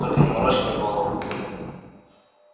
только не морочь мне голову